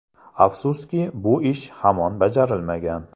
Afsuski, bu ish hamon bajarilmagan.